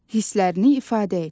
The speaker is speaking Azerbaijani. Hisslərini ifadə et.